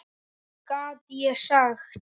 Hvað gat ég sagt?